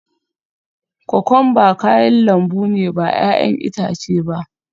Kokwamba kayan lambu ne ba 'ya'yan itace ba